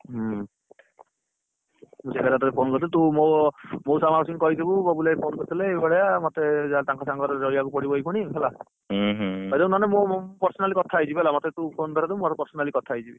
ହୁଁ phone କରିଥିଲି ତୁ ମଉସା ମାଉସୀ ଙ୍କୁ କହିଥିବୁ ବବୁଲ ଭାଇ phone କରିଥିଲେ ଏଇଭଳିଆ ମତେ ଜାହଲେଟଣକ ସାଙ୍ଗରେ ରହିବାକୁ ପଡିବ ଏଇଖିନା ହେଲା କହିଦବୁ ନହେଲେ ମୁ personally କଥା ହେଇଯିବି ମତେ ତୁ phone ଧରେଇଦବୁ ମୁ personally କଥା ହେଇଯିବି